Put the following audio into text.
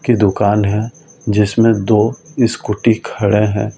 की दुकान है जिसमें दो स्कूटी खड़े हैं।